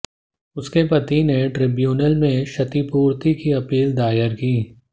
उसके पति ने ट्रिब्यूनल में क्षतिपूर्ति की अपील दायर की